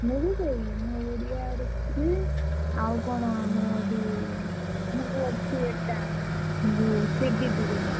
ମୁଁ ବି ସେଇ ମୁଁ ଓଡିଆ ଦେଖୁଥିଲି ଆଉ କଣ ଆମର ଯୋଉ ।